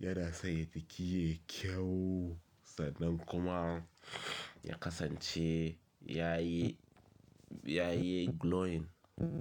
Yana sanya jiki yayi kyau sannan kuma ya kasance yayi, yayi glowing.